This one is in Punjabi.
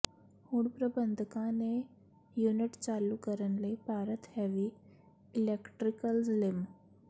ਹੁਣ ਪ੍ਰਬੰਧਕਾਂ ਨੇ ਯੂਨਿਟ ਚਾਲੂ ਕਰਨ ਲਈ ਭਾਰਤ ਹੈਵੀ ਇਲੈਕਟ੍ਰੀਕਲਜ਼ ਲਿਮ